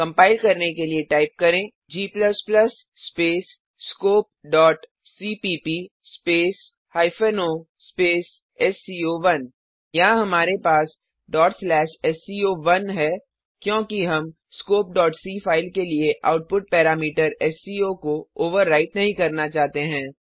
compile करने के लिए टाइप करें g space scope dot CPP space o space SCO one यहाँ हमारे पास sco1 है क्योंकि हम स्कोप c फाइल के लिए आउटपुट पैरामीटर एससीओ को ओवरराइट नहीं करना चाहते हैं